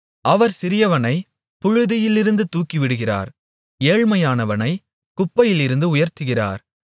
அவர் சிறியவனைப் புழுதியிலிருந்து தூக்கிவிடுகிறார் ஏழ்மையானவனைக் குப்பையிலிருந்து உயர்த்துகிறார்